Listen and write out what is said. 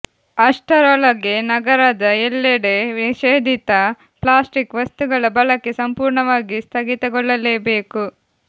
ಅಷ್ಟರೊಳಗೆ ನಗರದ ಎಲ್ಲೆಡೆ ನಿಷೇಧಿತ ಪ್ಲಾಸ್ಟಿಕ್ ವಸ್ತುಗಳ ಬಳಕೆ ಸಂಪೂರ್ಣವಾಗಿ ಸ್ಥಗಿತಗೊಳ್ಳಲೆಬೇಕು